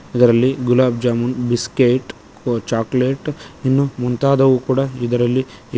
ಅದರಲ್ಲಿ ಗುಲಾಬ್ ಜಾಮೂನ್ ಬಿಸ್ಕೆಟ್ ಕೊ ಚಾಕ್ಲೇಟ್ ಇನ್ನು ಮುಂತಾದವು ಕೂಡ ಇದರಲ್ಲಿ--